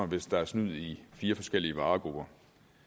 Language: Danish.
hvis der er snyd i fire forskellige varegrupper